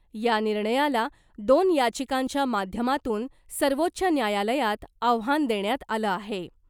या निर्णयाला दोन याचिकांच्या माध्यमातून सर्वोच्च न्यायालयात आव्हान देण्यात आलं आहे .